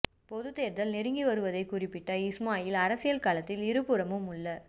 பொதுத் தேர்தல் நெருங்கி வருவதைக் குறிப்பிட்ட இஸ்மாயில் அரசியல் களத்தில் இரு புறமும் உள்ள